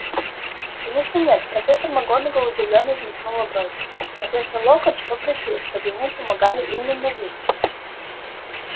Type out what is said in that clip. конечно нет профессор макгонагалл удивлённо взметнула брови профессор локонс попросил чтобы ему помогали именно вы